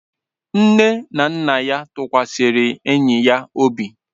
Nne na nna ya tụkwasịrị enyi ya obi.